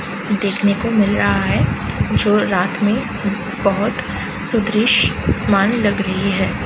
देखने को मिल रहा है जो रात में बहोत सुदृश्यमान लग रही है।